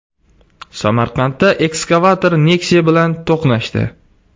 Samarqandda ekskavator Nexia bilan to‘qnashdi.